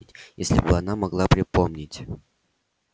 если бы она могла припомнить